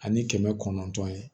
Ani kɛmɛ kɔnɔntɔn ye